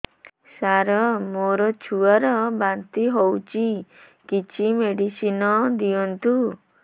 ସାର ମୋର ଛୁଆ ର ବାନ୍ତି ହଉଚି କିଛି ମେଡିସିନ ଦିଅନ୍ତୁ